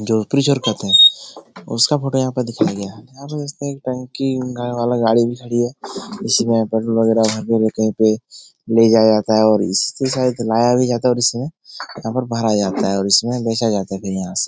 जो फ्रीजर कहते है उसका फोटो यहां पे दिखाया गया है। यहाँ पे देख सकते है टंकी नये वाला गाड़ी भी खड़ी है। इसमें पेट्रोल वगेरह भरने देते है फिर ले जाया जाता है और इससे शायद लाया भी जाता है और इसमे यहाँ पर भरा जाता है और इसमें बेचा जाता है फिर यहां से।